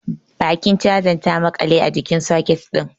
Bakin chazan ta maƙale a cikin soket din.